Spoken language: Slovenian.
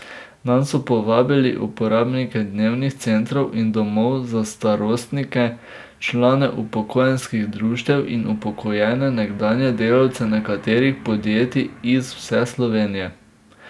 Nanj so povabili uporabnike dnevnih centrov in domov za starostnike, člane upokojenskih društev in upokojene nekdanje delavce nekaterih podjetij iz vse Slovenije.